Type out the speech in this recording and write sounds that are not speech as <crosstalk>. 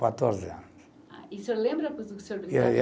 Quatorze anos. E o senhor lembra <unintelligible>